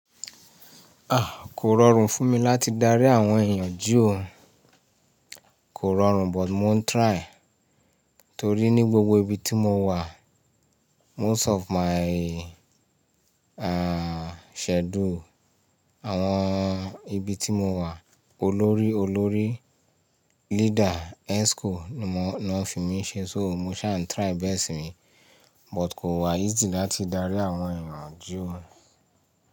Kò rọrùn fún mi láti dárí àwọn èèyàn jí ó kò rọrùn but mo ń try. Torí ní gbogbo ibi tí mo wà most of my, schedule àwọn ibi tí mo wà olórí olórí leader Exco ni wọ́n fi mí ṣe, so mo ṣà ń try best mi. But kò wà easy láti dárí àwọn èèyàn jí ó.